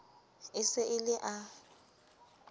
e se e le a